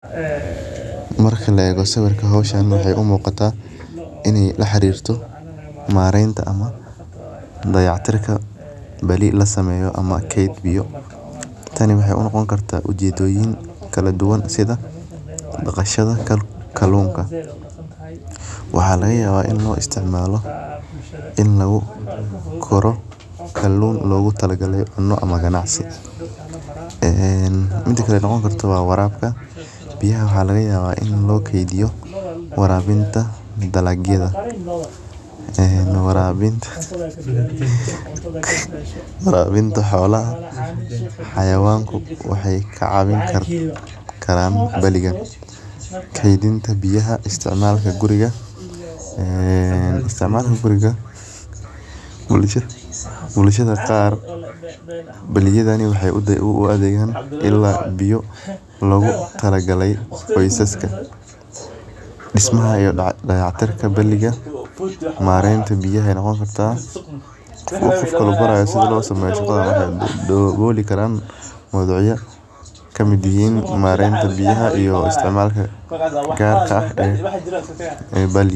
Goobta biyaha lagu keydiyo waa meel si gaar ah loogu talagalay in lagu ururiyo laguna hayo biyo si loogu isticmaalo waqtiyada baahida, gaar ahaan marka aanay biyo joogto ah la heli karin. Goobtan waxay noqon kartaa haan weyn oo caag ah, bir ah ama sibidh ah, sidoo kalena waxay noqon kartaa barkad dhisan ama ceel. Biyaha halkaas lagu keydiyo waxaa laga yaabaa in laga helo roob, ceel, ama biyo laga keeno meel fog oo la soo shubo.